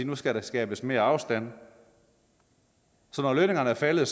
nu skal der skabes mere afstand så når lønningerne er faldet